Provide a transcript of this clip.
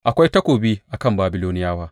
Akwai takobi a kan Babiloniyawa!